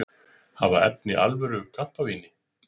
Hafa efni á alvöru kampavíni